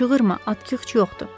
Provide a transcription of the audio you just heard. Çığırma, atxıç yoxdur.